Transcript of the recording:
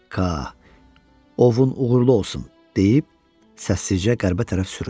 Ka, ovun uğurlu olsun deyib, səssizcə qərbə tərəf süründü.